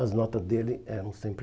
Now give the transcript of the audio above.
As nota dele eram sempre